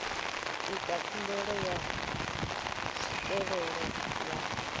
ita khumbelo ya tswikelelo ya